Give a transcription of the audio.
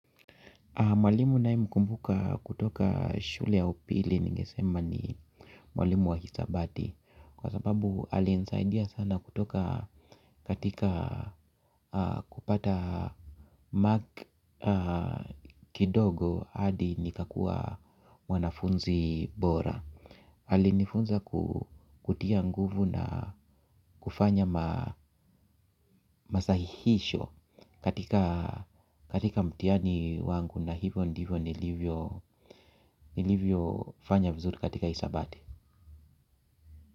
Mwalimu nayemkumbuka kutoka shule ya upili ningesema ni mwalimu wa hisabati. Kwa sababu alinisaidia sana kutoka katika kupata mark kidogo hadi nikakuwa mwanafunzi bora alinifunza kutia nguvu na kufanya masahihisho katika mtihani wangu na hivyo ndivyo nilivyo fanya vizuri katika isabati.